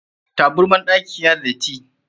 Taburman ɗakin na da datti.